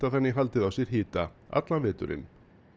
þannig haldið á sér hita allan veturinn